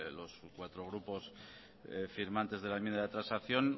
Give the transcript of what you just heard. los cuatro grupos firmantes de la enmienda de transacción